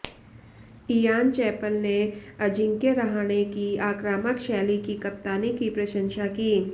Ian Chappell ने अजिंक्य रहाणे की आक्रामक शैली की कप्तानी की प्रशंसा की